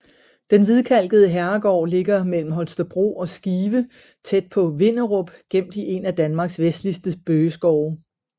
Den hvidkalkede herregård ligger mellem Holstebro og Skive tæt på Vinderup gemt i en af Danmarks vestligste bøgeskove